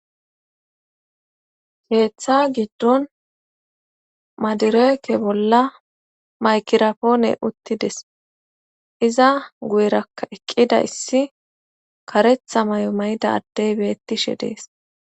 geeththa giddon madireeke bolla maykirapoone uttides iza guyraka eqqida issi karetha may7o mayda addey beettishe dees